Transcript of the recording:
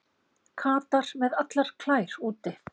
Katar með allar klær úti